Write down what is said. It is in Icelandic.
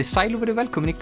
sæl og verið velkomin í